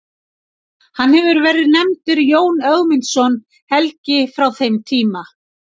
Hefur hann verið nefndur Jón Ögmundsson helgi frá þeim tíma.